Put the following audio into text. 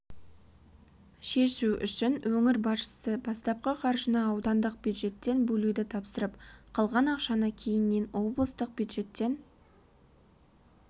шешу үшін өңір басшысы бастапқы қаржыны аудандық бюджеттен бөлуді тапсырып қалған ақшаны кейіннен облыстық бюджеттен